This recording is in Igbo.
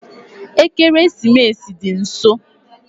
Ekeresimesi dị nso